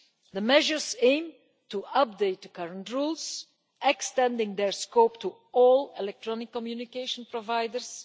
The measures aim to update the current rules, extending their scope to all electronic communication providers.